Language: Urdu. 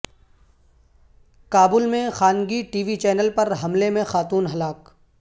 کابل میں خانگی ٹی وی چینل پر حملے میں خاتون ہلاک